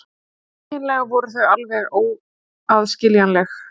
Eiginlega voru þau alveg óaðskiljanleg.